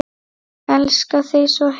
Elska þig svo heitt.